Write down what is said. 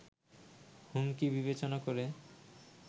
হুমকি বিবেচনা করে